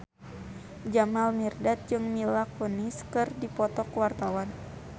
Jamal Mirdad jeung Mila Kunis keur dipoto ku wartawan